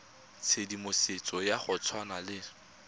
tshedimosetso ya go tshwana le